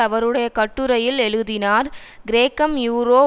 அவருடைய கட்டுரையில் எழுதினார் கிரேக்கம் யூரோ